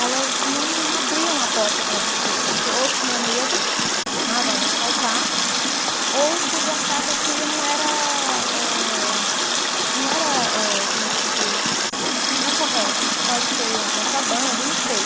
elas não abriam a porta para você, porque ou tinha medo, ah, vai me assaltar, ou podia achar que aquilo não era, eh, não era eh, como se diz, não é correto, isso pode ser um contrabando, não sei.